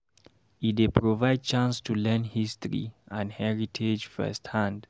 E dey provide chance to learn history and heritage firsthand.